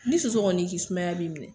Ni soso kɔni y'i kin sumaya b'i minɛ